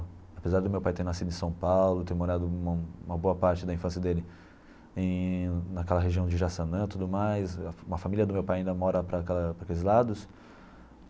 Apesar do meu pai ter nascido em São Paulo, ter morado uma uma boa parte da infância dele em naquela região de Jaçanã e tudo mais, a família do meu pai ainda mora para cá para aqueles lados.